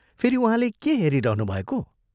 फेरि उहाँले के हेरिरहनुभएको?